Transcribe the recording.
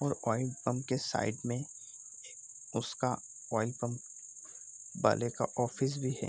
और oil pump के side में उसका ऑइल पंप वाले का ऑफिस भी है।